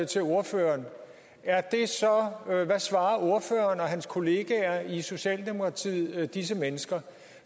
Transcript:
til ordføreren hvad svarer ordføreren og hans kollegaer i socialdemokratiet disse mennesker